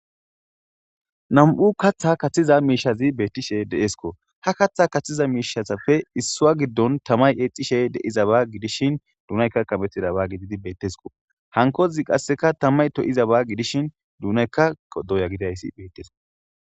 nam7u katha kaththiza miishazi beettishe deesko ha katha kaththiza miishasappe issua giddon tamay eexxishe deiza baa gidishin duunayka kametida baa gididi beettesko hankozi qasseka tammay to7iza ba gidishin dunaykka qoddoya gidayssi beettesk